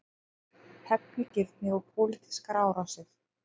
Hefnigirni og pólitískar árásir